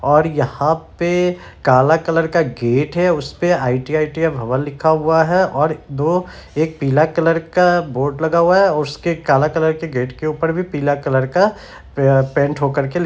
और यहाँ पे काला कलर का गेट है उस पे आई.टी.आई. भवन लिखा हुआ है और दो एक पीला कलर का बोर्ड लगा हुआ है और उसके काला कलर के गेट के ऊपर भी पीला कलर का प पेंट होकर के लिख --